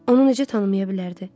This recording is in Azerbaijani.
Onu necə tanımaya bilərdi?